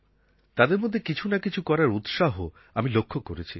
তাদের মধ্যে কিছু না কিছু করার উৎসাহ আমি লক্ষ করেছি